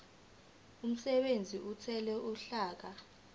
umsebenzi ethule uhlaka